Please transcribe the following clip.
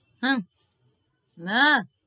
હા નાં